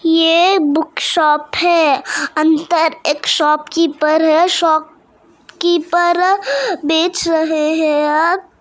ये book shop है अंदर एक शॉपकीपर है शॉपकीपर बेच रहे हैं या--